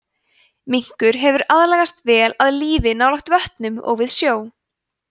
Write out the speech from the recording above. minkur hefur aðlagast vel að lífi nálægt vötnum og við sjó